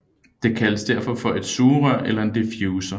Det kaldes derfor for et sugerør eller en difusor